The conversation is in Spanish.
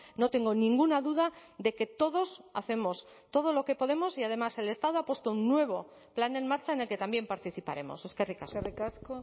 no tengo ninguna duda de que todos hacemos todo lo que podemos y además el estado ha puesto un nuevo plan en marcha en el que también participaremos eskerrik asko eskerrik asko